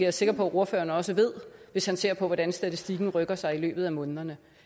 er sikker på at ordføreren også ved hvis han ser på hvordan statistikken rykker sig i løbet af månederne